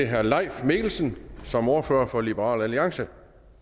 herre leif mikkelsen som ordfører for liberal alliance